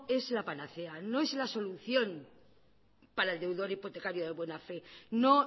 es la panacea no es la solución para el deudor hipotecario de buena fe no